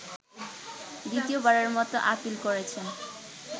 দ্বিতীয়বারের মতো আপীল করেছেন